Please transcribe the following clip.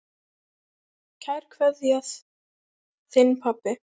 Kær kveðja, þinn pabbi.